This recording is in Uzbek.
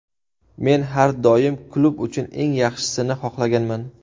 Men har doim klub uchun eng yaxshisini xohlaganman.